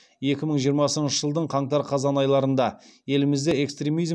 екі мың жиырмасыншы жылдың қаңтар қазан айларында елімізде экстремизм